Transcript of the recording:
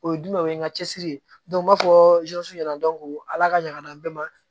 O ye jumɛn o ye n ka cɛsiri ye n b'a fɔ ɲɛna ala ka ɲa a bɛɛ ma